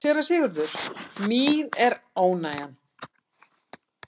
SÉRA SIGURÐUR: Mín er ánægjan.